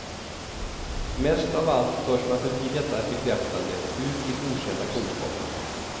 Mest av allt förs man förbi detta bekräftande, ut till okända kunskaper.